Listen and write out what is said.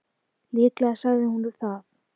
Líklega sagði hún það.